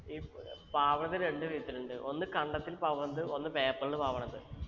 ഈ പ് ഏർ പാവണത് രണ്ട് വിധത്തിലുണ്ട് ഒന്ന് കണ്ടത്തിൽ പാവുന്നത് ഒന്ന് paper ൽ പാവണത്